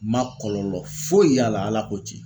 N man kɔlɔlɔ foyi y'a la Ala ko cɛn.